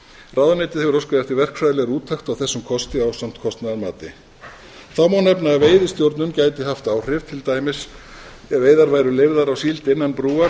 ráðuneytið hefur óskað eftir verkfræðilegri úttekt á þessum kosti ásamt kostnaðarmati þá má nefna að veiðistjórnun gæti haft áhrif til dæmis ef veiðar væru leyfðar á síld innan brúar en ekki